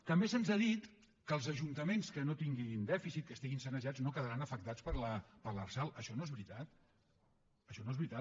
també se’ns ha dit que els ajuntaments que no tinguin dèficit que estiguin sanejats no quedaran afectats per l’lrsal això no és veritat això no és veritat